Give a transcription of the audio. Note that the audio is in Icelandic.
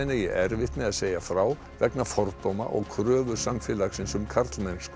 eigi erfitt með að segja frá vegna fordóma og kröfu samfélagsins um karlmennsku